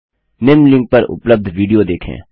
निम्न लिंक पर उपलब्ध विडियो देखें